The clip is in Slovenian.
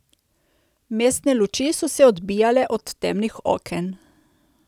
Mestne luči so se odbijale od temnih oken.